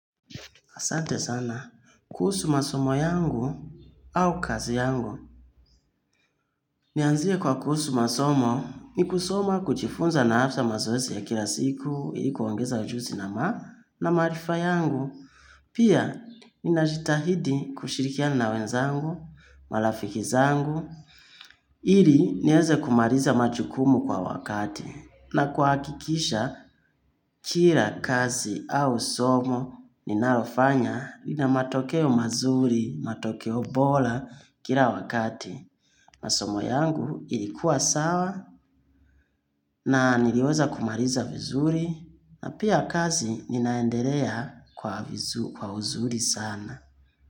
Asante sana, kuhusu masomo yangu au kazi yangu. Nianzie kwa kuhusu masomo, ni kusoma kujifunza na hasa mazoezi ya kila siku, ili kuongeza ujuzi na ma na maarifa yangu. Pia, ninajitahidi kushirikiana na wenzangu, marafiki zangu. Ili, nianze kumaliza majukumu kwa wakati. Na kuhakikisha, kila kazi au somo ninalofanya lina matokeo mazuri, matokeo bora kila wakati. Masomo yangu ilikuwa sawa na niliweza kumaliza vizuri na pia kazi ninaendelea kwa vizuri sana.